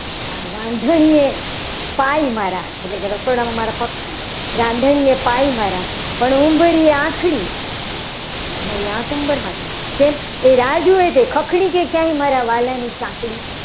રાંધણીએ ભાઈ મારા એટલે કે રસોડામાં પગ છે. મારા રાંધણીએ પાઈ મારા પણ ઉંબરીએ આખરી વળી આ કુંભારમાં છે. એ રાહ જુએ છે. કે ખખડી કે નહીં. મારા વાલા ની ચાકડી